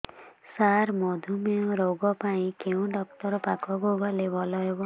ସାର ମଧୁମେହ ରୋଗ ପାଇଁ କେଉଁ ଡକ୍ଟର ପାଖକୁ ଗଲେ ଭଲ ହେବ